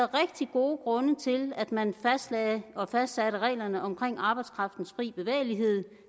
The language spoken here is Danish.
gode grunde til at man fastlagde og fastsatte reglerne omkring arbejdskraftens fri bevægelighed